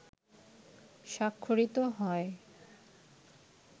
স্বাক্ষরিত হয়